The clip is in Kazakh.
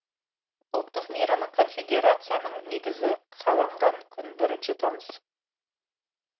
ұлттық мейрамы конфедерацияның негізі қаланған күн бірінші тамыз